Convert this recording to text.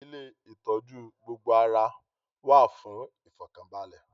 Ilé ìtọ́jú gbogbo ara wà fún ìfọ̀kànbalẹ̀